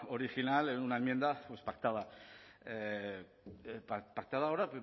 original en una enmienda pactada ahora